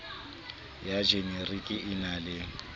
ya jenerike e na le